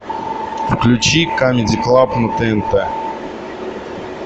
включи камеди клаб на тнт